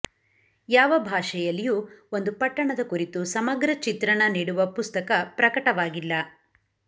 ಯಾವ ಭಾಷೆಯಲ್ಲಿಯೂ ಒಂದು ಪಟ್ಟಣದ ಕುರಿತು ಸಮಗ್ರ ಚಿತ್ರಣ ನೀಡುವ ಪುಸ್ತಕ ಪ್ರಕಟವಾಗಿಲ್ಲ